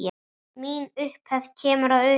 Mín upphefð kemur að utan.